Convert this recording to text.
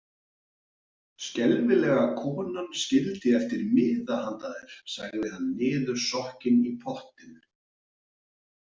Skelfilega konan skildi eftir miða handa þér, sagði hann niðursokkinn í pottinn.